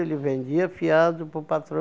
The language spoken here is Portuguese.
Ele vendia fiado para o patrão.